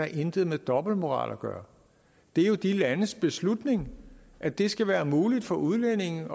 intet med dobbeltmoral at gøre det er jo de landes beslutning at det skal være muligt for udlændinge